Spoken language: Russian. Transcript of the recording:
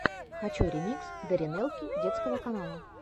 хочу ремикс даринелки детского канала